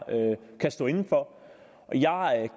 kan stå inde for